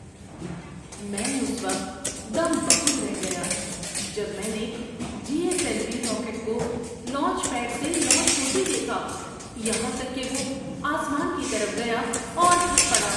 میں اس وقت دم بخود رہ گیا جب میں نے G S L V rocket کو لانچ پیڈ سے لانچ ہوتے دیکھا یہاں تک کہ وہ آسمان کی طرف گیا اور پھٹ پڑا۔